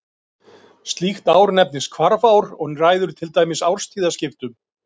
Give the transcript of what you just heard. Koffein hefur örvandi áhrif á líkamann, það örvar meðal annars heilann og eflir vökuástand.